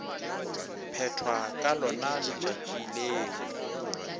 phethwa ka lona letšatši leo